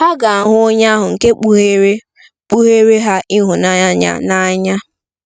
Ha ga-ahụ onye ahụ nke kpugheere kpugheere ha ịhụnanya ya n'anya.